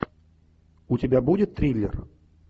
у тебя будет триллер